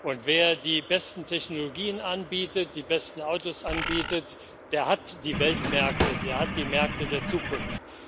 Und wer die besten Technologien anbietet, die besten Autos anbietet, der hat die Weltmärkte, der hat die Märkte der Zukunft.